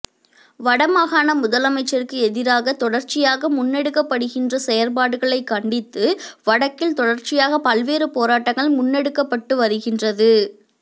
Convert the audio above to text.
வடமாகாண முதலமைச்சருக்கு எதிராக தொடர்ச்சியாக முன்னெடுக்கப்படுகின்ற செயற்பாடுகளை கண்டித்து வடக்கில் தொடர்ச்சியாக பல்வேறு போராட்டங்கள் முன்னெடுக்கப்பட்டு வருகின்றது